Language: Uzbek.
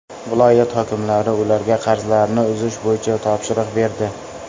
Viloyat hokimi ularga qarzlarni uzish bo‘yicha topshiriq berdi.